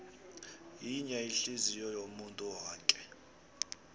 yinye ihliziyou yomuntu woke